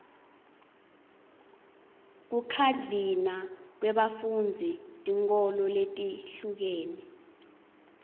kukhadlina kwebafundzi tinkholo letihlukene